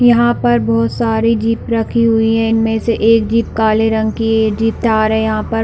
यहाँ पर बहुत सारी जीप रखी हुई है इनमें से एक जीप काले रंग की है ये जीप थार हैं।